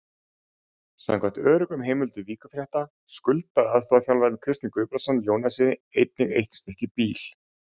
Samkvæmt öruggum heimildum Víkurfrétta skuldar aðstoðarþjálfarinn Kristinn Guðbrandsson Jónasi einnig eitt stykki bíl.